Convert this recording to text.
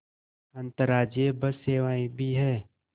अंतर्राज्यीय बस सेवाएँ भी हैं